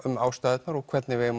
um ástæðurnar og hvernig við eigum